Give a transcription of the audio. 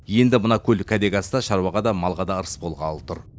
енді мына көл кәдеге асса шаруаға да малға да ырыс болғалы тұр